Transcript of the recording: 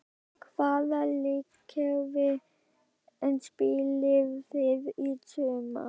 Hvaða leikkerfi spilið þið í sumar?